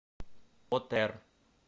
отр